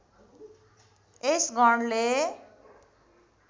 यस गणले